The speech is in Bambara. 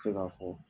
Tɛ se ka fɔ